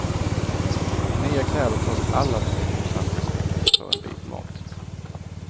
I nya kläder tas alla till uppsamlingshemmet för en bit mat.